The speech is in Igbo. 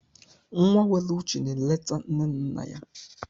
Nwa nwere uche na-eleta nne na nna ya.